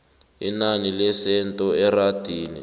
inani lesenthe erandini